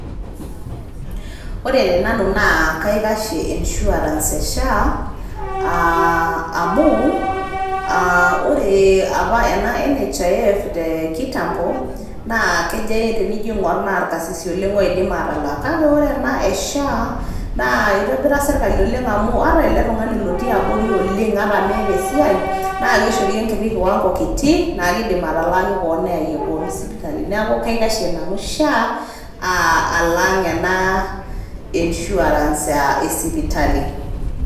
Ore te nanu naa kaikashie insurance e SHA aa amu aa ore apa ena NHIF te kitambo naa kejo tenijo ake ing'or naa irkasisi oleng' odim atalak. Kake ore ena e SHA naa itobira sirkali oleng' amu ata ele tung'ani lotii abori oleng' ata meeta esiai naake ishori enkiti kiwango kiti naake idim ataalaki koon neyaiye koon sipitali. Neeku kaikashie nanu SHA alang' ena insurance e sipitali.